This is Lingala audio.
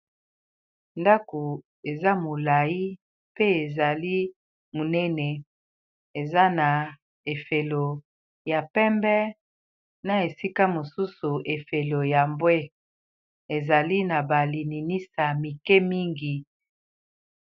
ndako eza molai pe ezali monene eza na efelo ya pembe na esika mosusu efelo ya mbwe ezali na balininisa mike mingi